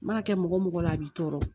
Mana kɛ mɔgɔ mɔgɔ la a b'i tɔɔrɔ